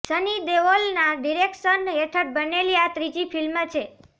સની દેઓલના ડિરેક્શન હેઠળ બનેલી આ ત્રીજી ફિલ્મ છે